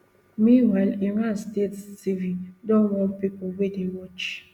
meanwhile iran state tv don warn pipo wey dey watch